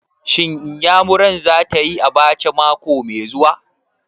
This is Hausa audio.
Shin Iyamurar za ta yi abacha mako mai zuwa?